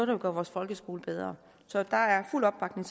vil gøre vores folkeskole bedre så der er fuld opbakning